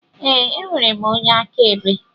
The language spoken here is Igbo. Ee, enwere m onye akaebe